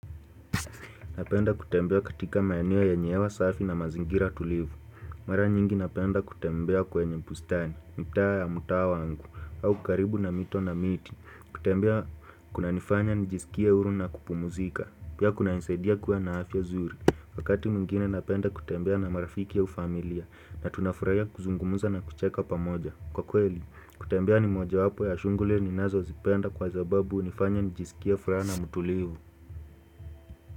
Napenda kutembea katika maeneo yenye hewa safi na mazingira tulivu. Mara nyingi napenda kutembea kwenye bustani, mitaa ya mtaa wangu, au karibu na mito na miti. Kutembea kunanifanya nijisikie huru na kupumzika. Pia kunanisadia kuwa na afya zuri. Wakati mwingine napenda kutembea na marafiki au familia. Na tunafurahia kuzungumza na kucheka pamoja. Kwa kweli, kutembea ni mojawapo ya shughuli ninazozipenda kwa sababu hunifanya nijisikie furana na mtulivu.